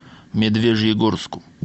медвежьегорску